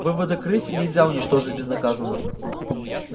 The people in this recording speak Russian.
выводок рыси нельзя уничтожить безнаказанно